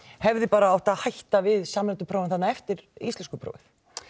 hefði átt að hætta bara við samræmdu prófin eftir íslenskuprófin